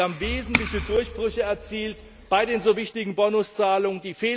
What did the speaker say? Wir haben wesentliche Durchbrüche erzielt bei den so wichtigen Bonuszahlungen